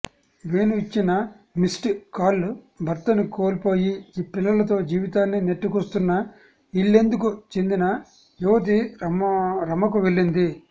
వేణు ఇచ్చిన missed call భర్తను కోల్పోయి పిల్లలతో జీవితాన్ని నెట్టుకొస్తున్న ఇల్లెందుకు చెందిన యువతి రమకు వెళ్లింది